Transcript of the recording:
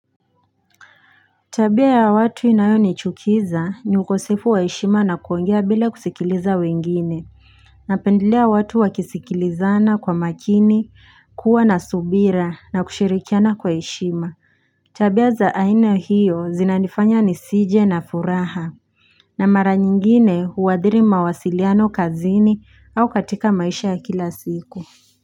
Tabia ya watu inayonichukiza ni ukosefu wa heshima na kuongea bila kusikiliza wengine Napendelea watu wakisikilizana kwa makini kuwa na subira na kushirikiana kwa heshima Tabia za aina hiyo zinanifanya nisije na furaha na mara nyingine uwadhiri mawasiliano kazini au katika maisha ya kila siku.